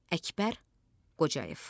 Əkbər Qocayev.